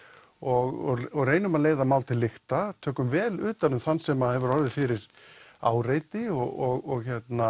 og reynum að leiða mál til lykta tökum vel utan um þann sem hefur orðið fyrir áreiti og